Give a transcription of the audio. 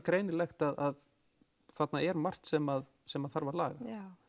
greinilegt að þarna er margt sem sem þarf að laga